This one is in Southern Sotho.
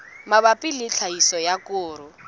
mabapi le tlhahiso ya koro